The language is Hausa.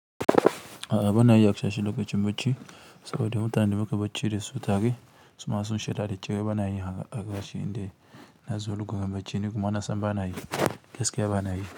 A'a bana yi a kashe lokacin bacci saboda mutanen da suka bacci da su take, suna son shida da cike bana yi a gashi inda na zo lugan bacci ni kuma na san bana yi, gaskiya bana yi.